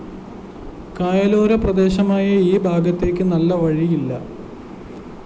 കായലോര പ്രദേശമായ ഈ ഭാഗത്തേക്ക് നല്ല വഴിയില്ല